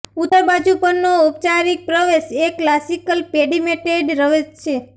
ઉત્તર બાજુ પરનો ઔપચારિક પ્રવેશ એ ક્લાસિકલ પેડિમેટેડ રવેશ છે